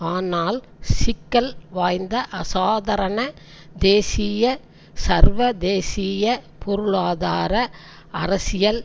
ஆனால் சிக்கல் வாய்ந்த அசாதாரண தேசிய சர்வதேசிய பொருளாதார அரசியல்